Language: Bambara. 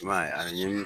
I b'a ye a ni